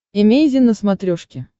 эмейзин на смотрешке